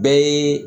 Bɛɛ ye